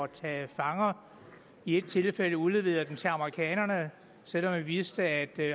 tage fanger i et tilfælde udleveret dem til amerikanerne selv om vi vidste at